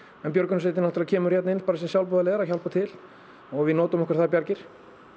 en björgunarsveitin náttúrulega kemur hérna inn sem sjálfboðaliðar til að hjálpa til og við nýtum okkur þær bjargir